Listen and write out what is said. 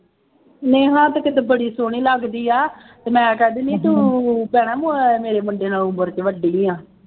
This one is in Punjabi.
ਨੇਹਾ ਤਾਂ ਕਿਤੇ ਬੜੀ ਸੋਹਣੀ ਲੱਗਦੀ ਹੈ ਅਤੇ ਮੈਂ ਕਹਿ ਦਿੰਦੀ ਹੈ ਤੂੰ ਕਹਿਣਾ ਮੋਇਆ ਮੇਰੇ ਮੁੰਡੇ ਨਾਲੋਂ ਉਮਰ ਚ ਵੱਡੀ ਹੈ।